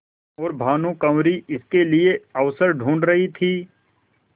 और भानुकुँवरि इसके लिए अवसर ढूँढ़ रही थी